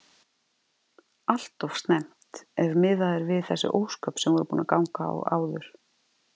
Alltof snemmt ef miðað er við þessi ósköp sem voru búin að ganga á áður.